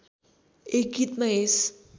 एक गीतमा यस